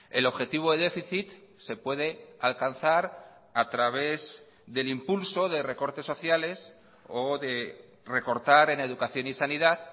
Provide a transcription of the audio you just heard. el objetivo de déficit se puede alcanzar a través del impulso de recortes sociales o de recortar en educación y sanidad